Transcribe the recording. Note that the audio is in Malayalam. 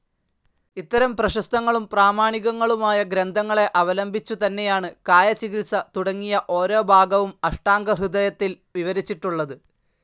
ഇത്തരം പ്രശസ്തങ്ങളും പ്രാമാണികങ്ങളുമായ ഗ്രന്ഥങ്ങളെ അവലംബിച്ചുതന്നെയാണ് കായചികിത്സ തുടങ്ങിയ ഓരോ ഭാഗവും അഷ്ടാംഗഹൃദയത്തിൽ വിവരിച്ചിട്ടുള്ളത്.